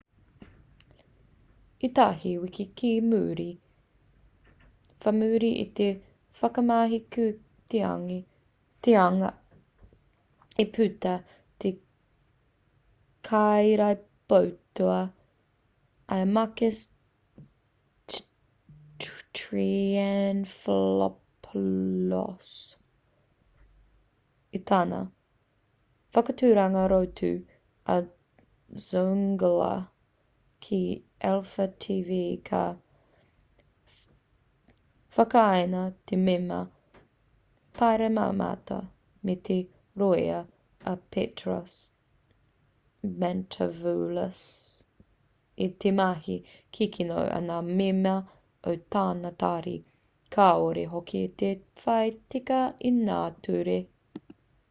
ētahi wiki ki muri whai muri i te whakamahukitanga i puta i te kairīpoata i a makis triantafylopoulos i tana whakaaturanga rorotu a zoungla ki alpha tv ka whakatakaina te mema pāremata me te rōia a petros mantouvalos i te mahi kikino a ngā mema o tana tari kāore hoki i te whai tika i ngā ture